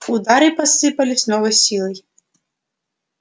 удары посыпались с новой силой